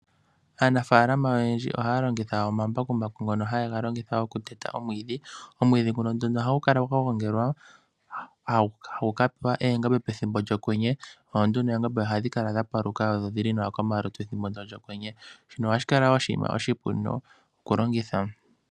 Aanafaalama oyendji ohaya longitha omambakumbaku ngono haye ga longitha oku teta omwiidhi. Omwiidhi nguno nduno ohagu kala gwa gongelwa hagu ka pewa oongombe pethimbo lyokwenye. Nanduno oongombe ohadhi kala dha paluka na odhi li nawa komalutu ethimbo lyokwenye. Shino ohashi kala wo oshiima oshipu oku longitha.